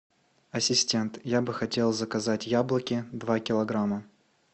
ассистент я бы хотел заказать яблоки два килограмма